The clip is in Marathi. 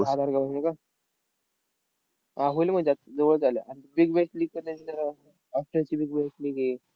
वीस